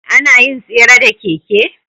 Anayin tsere da keke